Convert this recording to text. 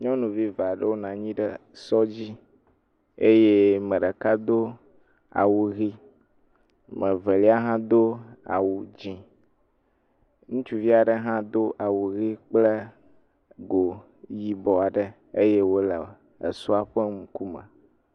Nyɔnuvi eve aɖewo nɔ anyi ɖe esɔ dzi eye ame ɖeka do awu ʋi. Ame velia hã do awu dzi. Ŋutsuvi aɖe hã doawu ʋi kpla go yibɔ aɖe eye wo le esɔa ƒe ŋkume.